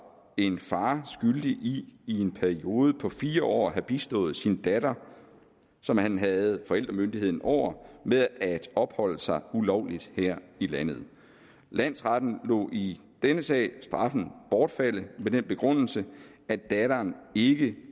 en far skyldig i i en periode på fire år at have bistået sin datter som han havde forældremyndigheden over med at opholde sig ulovligt her i landet landsretten lod i denne sag straffen bortfalde med den begrundelse at datteren ikke